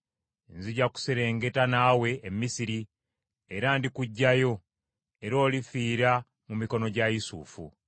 Nzija kuserengeta naawe e Misiri, era ndi kuggyayo; era olifiira mu mikono gya Yusufu.”